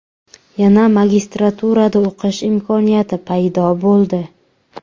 Yana magistraturada o‘qish imkoniyati paydo bo‘ldi.